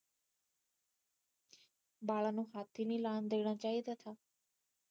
ਬਾਲਾ ਨੂੰ ਹੱਥ ਈ ਨਹੀਂ ਲਾਉਣ ਦੇਣਾ ਚਾਹੀਦਾ ਥਾ